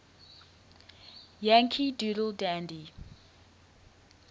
yankee doodle dandy